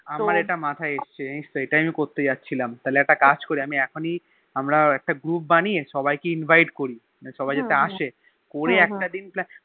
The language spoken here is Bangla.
আমার ইটা মাথায় এসেছে জানিস তো এটাই আমি করতে যাচ্ছিলাম তাহলে একটা কাজ করি আমি এখনই আমরা একটা Group বানিয়ে সবাই কে Invite করি মানে সবাই যাতে আসে করে একটা দিন Pan